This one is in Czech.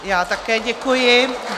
Já také děkuji.